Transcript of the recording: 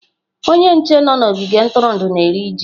Onye nche nọ n'ogige ntụrụndụ na-eri ji.